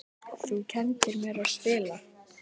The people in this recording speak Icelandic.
Þú kenndir mér að spila.